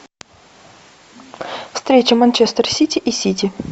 встреча манчестер сити и сити